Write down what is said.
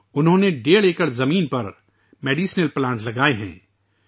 انہوں نے ڈیڑھ ایکڑ اراضی پر دواؤں کے پودے لگائے ہیں